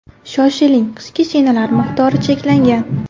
Shoshiling, qishki shinalar miqdori cheklangan!